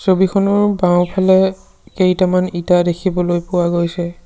ছবিখনৰ বাওঁফালে কেইটামান ইটা দেখিবলৈ পোৱা গৈছে।